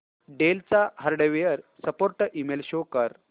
del चा hardware support email show कर